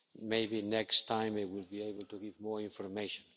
Maybe next time I will be able to give more information.